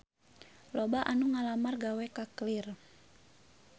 Loba anu ngalamar gawe ka Clear